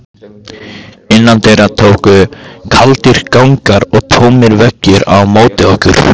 Innandyra tóku kaldir gangar og tómir veggir á móti okkur.